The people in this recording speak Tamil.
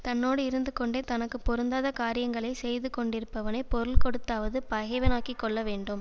தன்னோடு இருந்துகொண்டே தனக்கு பொருந்தாத காரியங்களை செய்து கொண்டிருப்பவனைப் பொருள் கொடுத்தாவது பகைவனாக்கிக் கொள்ள வேண்டும்